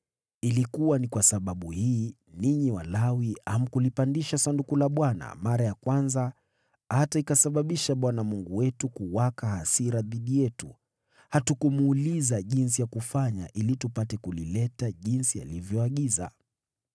Ilikuwa ni kwa sababu hii, ninyi Walawi, hamkulipandisha Sanduku la Bwana mara ya kwanza, hata ikasababisha Bwana Mungu wetu kuwaka hasira dhidi yetu. Hatukumuuliza jinsi ya kufanya ili tupate kulileta jinsi alivyoagiza.”